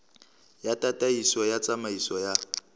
ya tataiso ya tsamaiso ya